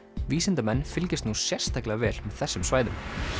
vísindamenn fylgjast nú sérstaklega vel með þessum svæðum